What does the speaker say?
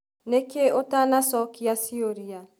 Nĩkĩ ũtanacokĩa ciũria?